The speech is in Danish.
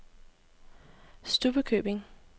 Stubbekøbing